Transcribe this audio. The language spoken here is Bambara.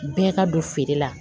Bɛɛ ka don feere la